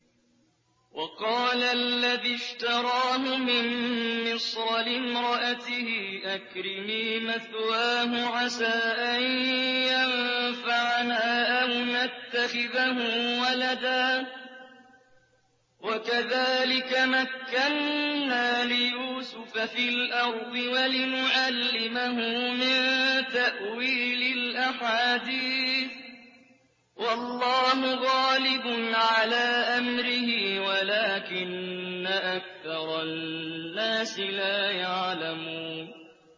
وَقَالَ الَّذِي اشْتَرَاهُ مِن مِّصْرَ لِامْرَأَتِهِ أَكْرِمِي مَثْوَاهُ عَسَىٰ أَن يَنفَعَنَا أَوْ نَتَّخِذَهُ وَلَدًا ۚ وَكَذَٰلِكَ مَكَّنَّا لِيُوسُفَ فِي الْأَرْضِ وَلِنُعَلِّمَهُ مِن تَأْوِيلِ الْأَحَادِيثِ ۚ وَاللَّهُ غَالِبٌ عَلَىٰ أَمْرِهِ وَلَٰكِنَّ أَكْثَرَ النَّاسِ لَا يَعْلَمُونَ